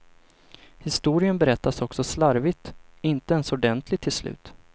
Historien berättas också slarvigt, inte ens ordentligt till slut.